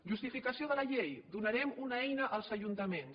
justificació de la llei donarem una eina als ajuntaments